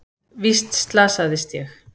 Víst slasaðist ég.